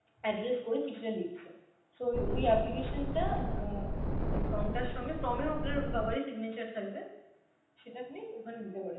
address করে চিঠিটা লিখছে. so ও~ ওই application টা অ্যাঁ ওই form টার সঙ্গে, form এও আপনার বাবারই signature থাকবে, সেটা আপনি ওখানে দিতে পারেন.